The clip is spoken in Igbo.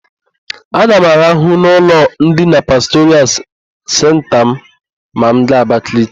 Aga m araha n'ụlọ ndina Pastoral Senta ma m gaa Abakaliki.